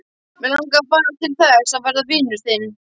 Mig langar bara til þess að verða vinur þinn.